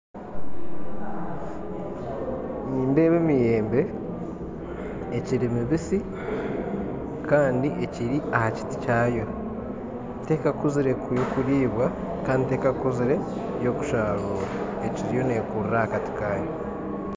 Nindeeba emiyembe ekiri mibisi kandi ekiri ha kiti kyayo tekakuzire kuriibwa kandi tekakuzire yokusharuura, ekiriyo nekurra ha kati kayo